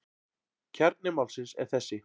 Kjarni málsins er þessi.